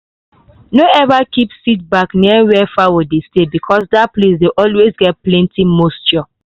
no ever keep seed bag near where fowl dey stay because that place dey always get plenty moisture.